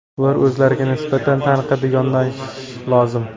Ular o‘zlariga nisbatan tanqidiy yondashishi lozim.